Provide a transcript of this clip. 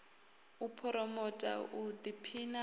u phuromotha u ḓiphina ha